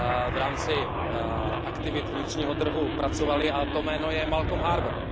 v rámci aktivit vnitřního trhu pracovali, a to jméno je Malcolm Harbour.